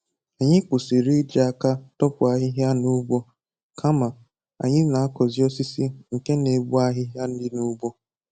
Anyị kwụsịrị iji aka dopụ ahịhịa n'ugbo, kama anyị na-akọzị osisi nke n'egbu ahịhịa dị n'ugbo